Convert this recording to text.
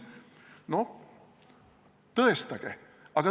Noh, tõestage!